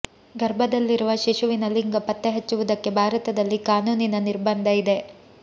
ಗರ್ಭದಲ್ಲಿರುವ ಶಿಶುವಿನ ಲಿಂಗ ಪತ್ತೆ ಹಚ್ಚುವುದಕ್ಕೆ ಭಾರತದಲ್ಲಿ ಕಾನೂನಿನ ನಿರ್ಬಂಧ ಇದೆ